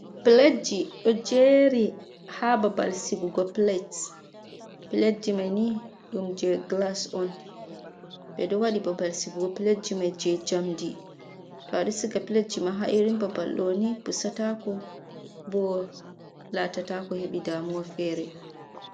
Plet ji ɗo jeri ha babbal sigugo plet, plet ji mai ni ɗum je glas on ɓe ɗo waɗi babal sigugo plet ji mai je njamdi, to a ɗo siga plet ji ma ha’irin ɓabal ɗo ni pusatako ɓo latatako heɓi damuwa fere.